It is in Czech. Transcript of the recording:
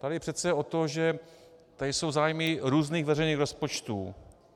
Tady jde přece o to, že tady jsou zájmy různých veřejných rozpočtů.